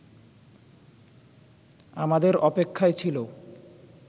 আমাদের অপেক্ষায় ছিল